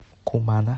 кумана